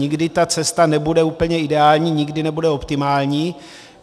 Nikdy ta cesta nebude úplně ideální, nikdy nebude optimální.